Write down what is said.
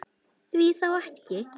Því þá ekki?